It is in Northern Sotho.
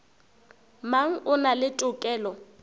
mang o na le tokelo